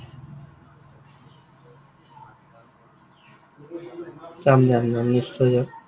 যাম যাম যাম, নিশ্চয় যাম।